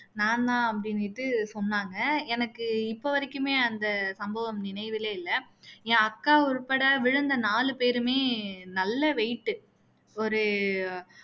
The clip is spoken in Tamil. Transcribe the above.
நான் தான் அப்படின்னுட்டு சொன்னாங்க எனக்கு இப்போ வரைக்குமே அந்த சம்பவம் நினைவுல இல்ல என் அக்கா உட்பட விழுந்த நாலு பேருமே நல்ல weight உ ஒரு